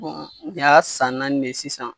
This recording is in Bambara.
nin y'a san naani de ye sisan.